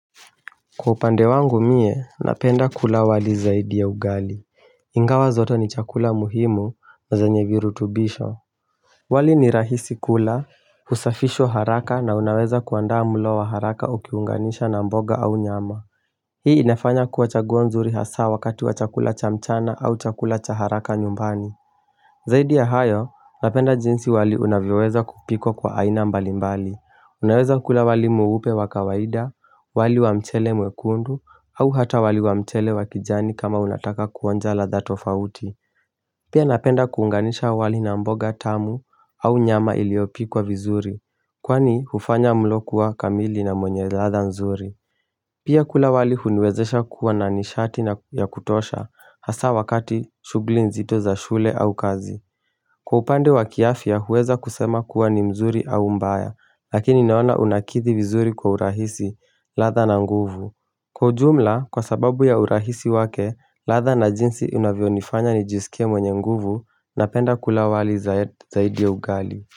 Kwa upande wangu mie, napenda kula wali zaidi ya ugali. Ingawa zoto ni chakula muhimu na zanye virutubisho wali ni rahisi kula, usafisho haraka na unaweza kuandaa mulo wa haraka ukiunganisha na mboga au nyama Hii inafanya kuwa chaguo nzuri hasa wakati wa chakula cha mchana au chakula cha haraka nyumbani Zaidi ya hayo, napenda jinsi wali unavyoweza kupikwa kwa aina mbalimbali. Unaweza kula wali mweupe wakawaida, wali wa mchele mwekundu, au hata wali wa mchele wakijani kama unataka kuonja ladha tofauti. Pia napenda kuunganisha wali na mboga tamu au nyama iliopikwa vizuri, kwani hufanya mlo kuwa kamili na wenye ladha nzuri. Pia kula wali huniwezesha kuwa na nishati ya kutosha hasa wakati shughuli nzito za shule au kazi. Kwa upande wa kiafya huweza kusema kuwa ni mzuri au mbaya, lakini naona unakidhi vizuri kwa urahisi, ladha na nguvu. Kwa ujumla, kwa sababu ya urahisi wake, ladha na jinsi unavyo nifanya nijisike mwenye nguvu, napenda kula wali zaidi ya ugali.